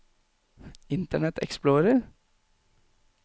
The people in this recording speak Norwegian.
internet explorer